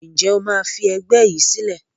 Ǹjẹ́ o máa fi ẹgbẹ́ yìí sílẹ̀?